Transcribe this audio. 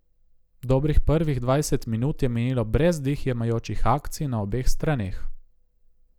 Dobrih prvih dvajset minut je minilo brez dih jemajočih akcij na obeh straneh.